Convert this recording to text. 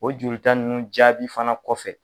O joli ta ninnu jaabi fana kɔfɛ